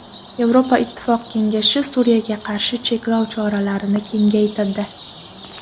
Yevropa Ittifoqi kengashi Suriyaga qarshi cheklov choralarini kengaytirdi.